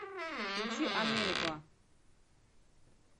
включи америква